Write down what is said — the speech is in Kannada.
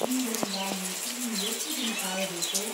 ಇಂದ್ರನಿಗಾಗಿ ಇನ್ನು ಎಷ್ಟು ದಿನ ಕಾಯಬೇಕೋ?